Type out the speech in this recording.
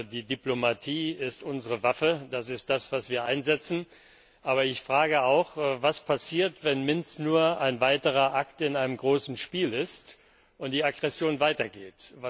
Die Diplomatie ist unsere Waffe, das ist das, was wir einsetzen. Aber ich frage auch Was passiert, wenn Minsk nur ein weiterer Akt in einem großen Spiel ist und die Aggression weitergeht?